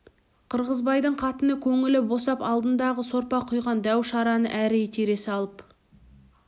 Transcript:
қырғызбайдың қатыны көңілі босап алдындағы сорпа құйған дәу шараны әрі итере салып